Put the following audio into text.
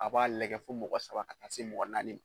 A b'a lagɛ fo mɔgɔ saba ka taa se mɔgɔ naani ma.